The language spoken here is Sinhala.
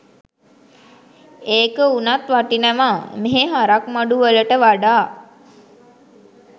ඒක උනත් වටිනවා මෙහෙ හරක් මඩු වලට වඩා